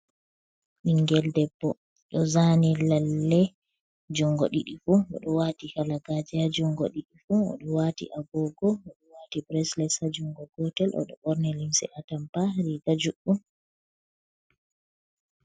Ɓingel debbo ɗo zani lalle jungo ɗiɗi fu o ɗo wati halagaje jungo ɗiɗi fu, o ɗo wati Agogo, o ɗo wati breslet ha jungo gotel o ɗo ɓorni limse atampa riga juɗɗum.